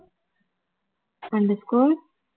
underscore